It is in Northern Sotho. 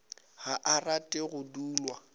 ga a rate go dulwa